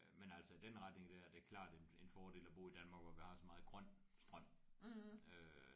Men altså i den retning der er det klart en fordel at bo i Danmark hvor vi har så meget grøn strøm øh